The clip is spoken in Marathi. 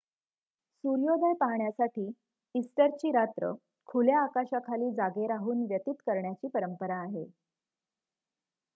सूर्योदय पहाण्यासाठी इस्टरची रात्र खुल्या आकाशाखाली जागे राहून व्यतीत करण्याची परंपरा आहे